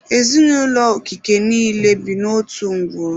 Ezinụlọ Okeke niile bi n'otu ngwuru.